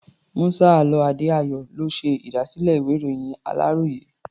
Musa Alao Adedayo ló ṣe ìdásílẹ̀ ìwé-ìròyìn aláròyé.